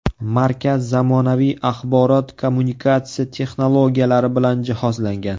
Markaz zamonaviy axborot-kommunikatsiya texnologiyalari bilan jihozlangan.